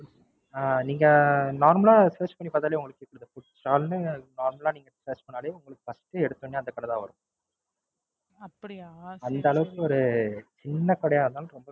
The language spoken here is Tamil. ஆ நீங்க Normal ஆ Search பண்ணி பார்த்தாலே உங்களுக்கு தெரியும். Food stall ன்னு Normal ஆ Search பண்ணாலே உங்களுக்கு First எடுத்தோனே அந்த கடை தான் வரும். அந்த அளவுக்கு ஒரு சின்ன கடையா இருந்தாலும் போதும்.